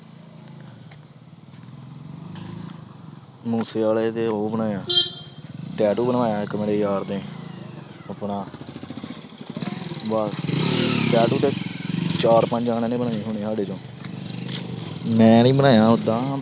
ਮੂਸੇਵਾਲੇ ਦੇ ਉਹ ਬਣਾਇਆ tattoo ਬਣਾਇਆ ਇੱਕ ਮੇਰੇ ਯਾਰ ਨੇ ਆਪਣਾ ਬਾ~ tattoo ਤੇ ਚਾਰ ਪੰਜ ਜਾਣਿਆਂ ਦੇ ਬਣੇ ਹੋਣੇ ਆਂ ਸਾਡੇ ਚੋਂ ਮੈਂ ਨੀ ਬਣਾਇਆ ਓਦਾਂ